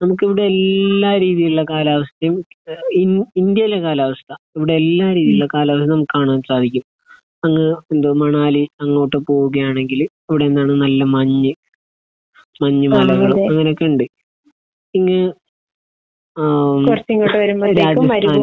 നമുക്ക് ഇവിടെ എല്ലാ രീതിയിലുള്ള കാലാവസ്ഥയും ഇൻ ഇന്ത്യയിലെ കാലാവസ്ഥ ഇവിടെ എല്ലാ രീതിയിലെ കാലാവസ്ഥ നമുക്ക് കാണാൻ സാധിക്കും. അ എന്താ മണാലി അങ്ങോട്ട് പോവുകയാണെങ്കിൽ അവിടെ എന്താണ് നല്ല മഞ്ഞ് മഞ്ഞ് മലകളും അങ്ങനെയൊക്കെ ഉണ്ട്. പിന്നെ ഏഹ് രാജസ്ഥാൻ